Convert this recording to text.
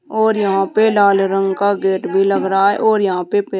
और यहां पे लाल रंग का गेट भी लग रहा है और यहां पे पे --